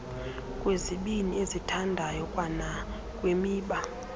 kwizibini ezithandayo kwanakwimiba